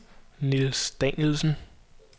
Nils Danielsen